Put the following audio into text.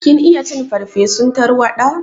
Kin iya cin farsefun tarwaɗa?